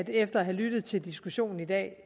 jeg efter at have lyttet til diskussionen i dag